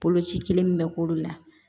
Boloci kelen min bɛ k'olu la